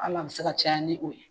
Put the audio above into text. Al'a bi se ka caya ni o ye.